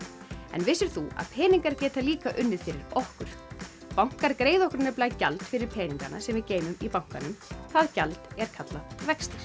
en vissir þú að peningar geta líka unnið fyrir okkur bankar greiða okkur nefnilega gjald fyrir peningana sem við geymum í bankanum það gjald er kallað vextir